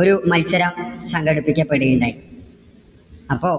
ഒരു മത്സരം സംഘടിപ്പിക്കപ്പെടുകയുണ്ടായി. അപ്പോ